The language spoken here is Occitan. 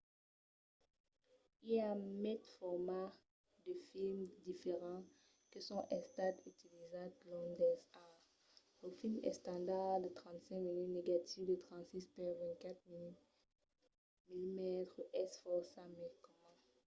i a maites formats de films diferents que son estats utilizats long dels ans. lo film estandard de 35 mm negatiu de 36 per 24 mm es fòrça mai comun